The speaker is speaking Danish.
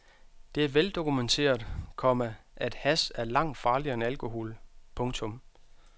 Det er veldokumenteret, komma at hash er langt farligere end alkohol. punktum